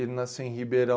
Ele nasceu em Ribeirão.